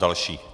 Další.